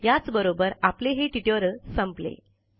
याचबरोबर आपले हे ट्युटोरियल संपले